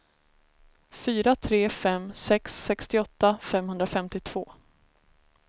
fyra tre fem sex sextioåtta femhundrafemtiotvå